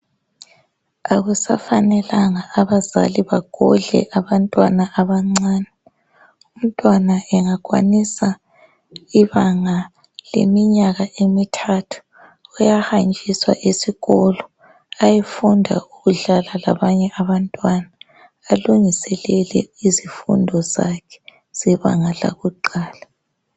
Akusafanelanga abazali bagodle abantwana abancane. Ymntwana engakwanisa ibanga leminyaka emithathu uyahanjiswa esikolo ayefunda ukudlala labanye abantwana alungiselele izifundo zakhe zebanga lakuqala.